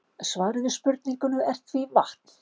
Svarið við spurningunni er því vatn.